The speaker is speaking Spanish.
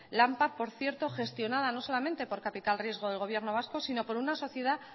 lampar por cierto gestionada no solamente por capital riesgo del gobierno vasco sino por una sociedad